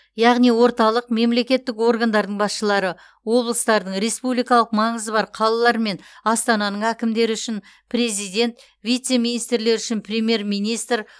яғни орталық мемлекеттік органдардың басшылары облыстардың республикалық маңызы бар қалалар мен астананың әкімдері үшін президент вице министрлер үшін премьер министр